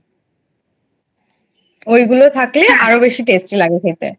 ঐগুলো থাকলে আরো বেশি Tasty লাগবে খেতে।